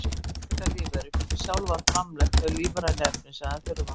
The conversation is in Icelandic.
Frumbjarga lífverur geta sjálfar framleitt þau lífrænu efni sem þær þurfa.